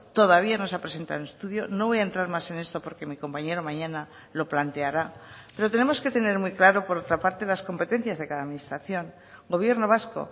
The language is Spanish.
todavía no se ha presentado un estudio no voy a entrar más en esto porque mi compañero mañana lo planteará pero tenemos que tener muy claro por otra parte las competencias de cada administración gobierno vasco